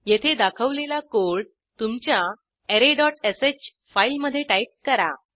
येथे दाखवलेला कोड तुमच्या arrayश फाईलमधे टाईप करा